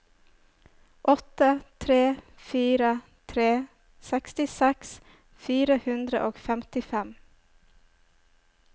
åtte tre fire tre sekstiseks fire hundre og femtifem